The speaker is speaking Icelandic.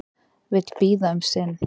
Vill bíða um sinn